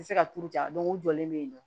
Se ka turu ja o jɔlen bɛ yen nɔ